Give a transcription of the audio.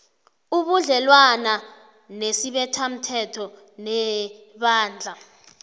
ubudlelwana nesibethamthetho nebandla